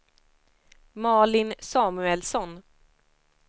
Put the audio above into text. Malin Samuelsson